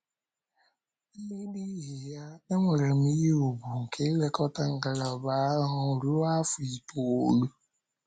N’ihi ya, enwere m ihe ùgwù nke ilekọta ngalaba ahụ ruo afọ itoolu.